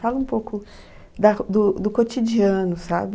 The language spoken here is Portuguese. Fala um pouco da do, do cotidiano, sabe?